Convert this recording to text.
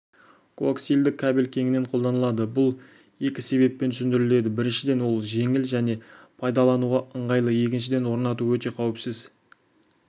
коаксиалды кабель кеңінен қолданылады бұл екі себеппен түсіндіріледі біріншіден ол жеңіл және пайдалануға ыңғайлы екіншіден орнату өте қауіпсіз